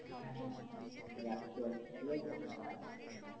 হ্যাঁ রাখছি এখন ঠিক আছে tata